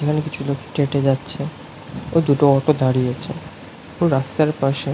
এখানে কিছু লোক হেটে হেটে যাচ্ছে ও দুটো অটো দাঁড়িয়ে আছে ও রাস্তার পাশে।